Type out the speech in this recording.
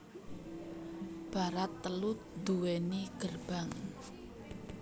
Barat telu duwéni gerbang